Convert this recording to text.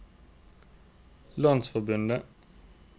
landsforbundet